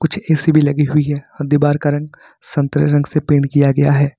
कुछ ए_सी भी लगी हुई है दीवार का रंग संतरे रंग से पेंट किया गया है।